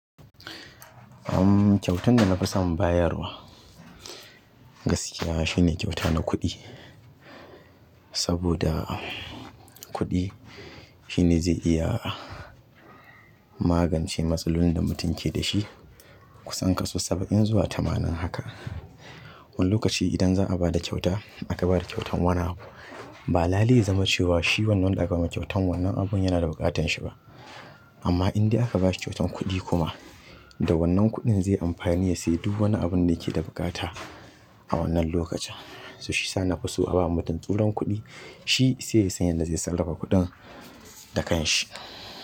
Kyautan da na fi son bayarwa gaskiya shine kyauta na kuɗi. Saboda kuɗi shine zai iya magance matsalolin da mutum ke da shi kusan kaso saba'in zuwa tamanin haka. Wani lokaci idan za a ba da kyauta aka ba da kyautan wani abu ba, lale ya zama cewa shi wannan da aka ma kyautan wannan abun yana da bukatanshi ba. Amma in dai aka ba shi kyautan kuɗi kuma da wannan kuɗin zai amfani ya sayi duk wani abun da yake da buƙata a wannan lokacin. So shi sa na fi so a ba mutum tsuran kuɗi, shi sai ya san yadda zai sarrafa kuɗin da kan shi.